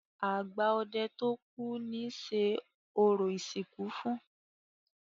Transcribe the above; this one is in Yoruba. Àgbà ọdẹ tó kú ni ṣe orò ìsìnkú fún.